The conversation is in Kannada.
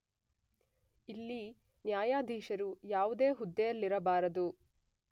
ಇಲ್ಲಿ ನ್ಯಾಯಾಧೀಶರು ಯಾವುದೇ ಹುದ್ದೆಯಲ್ಲಿರಬಾರದು